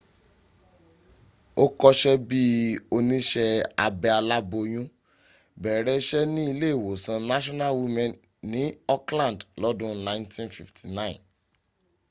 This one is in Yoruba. ó kọ́sẹ́ bí i oníṣẹ́ abẹ aláboyún bẹ̀rẹ̀ iṣẹ́ ni ilé ìwòsàn national women ní auckland lọ́dún 1959